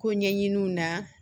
Ko ɲɛɲiniw na